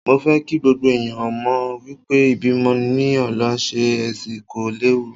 Mo fẹ́ kí gbogbo ẹ̀yàn mọ̀ wípé ìbímọ ní ọ̀nà Sí-Ẹsì kò léwu.